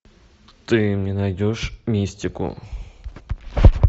ты мне найдешь мистику